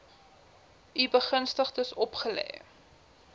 u begunstigdes opgelê